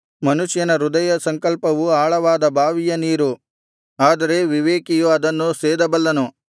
ಮನುಷ್ಯನ ಹೃದಯಸಂಕಲ್ಪವು ಆಳವಾದ ಬಾವಿಯ ನೀರು ಆದರೆ ವಿವೇಕಿಯು ಅದನ್ನು ಸೇದಬಲ್ಲನು